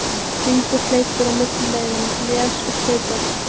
Hringur hleypur á milli leiðanna, les og stautar.